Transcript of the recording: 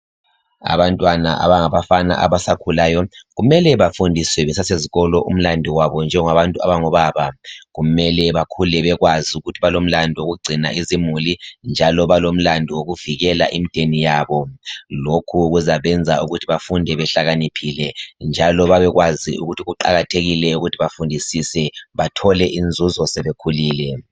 Abantwana abangabafana abasakhulayo kumele bafundiswe besasezikolo umlandu wabo njengabantu abangobaba. Kumele bakhule bekwazi ukuthi balomlandu wokugcina izimuli njalo balomlandu wokuvikela imdeni yabo lokhu kuzabenza ukuthi bakhule behlakaniphile njalo babekwazi ukuthi kuqakathekile ukuthi bafundisise bathole inzuzo sebekhulile